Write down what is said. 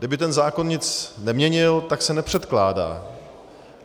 Kdyby ten zákon nic neměnil, tak se nepředkládá.